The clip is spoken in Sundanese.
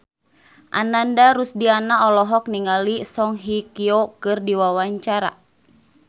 Ananda Rusdiana olohok ningali Song Hye Kyo keur diwawancara